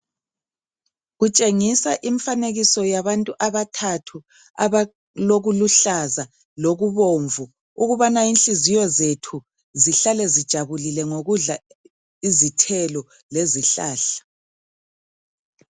Kutshengisa imifanekiso yabantu abathathu, abalokuluhlaza lokubomvu, ukubana inhliziyo zethu zihlale zijabulile ngokudla izithelo lezihlahla.